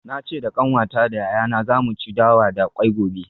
Na ce da kanwata da yayana za mu ci dawa da kwai gobe.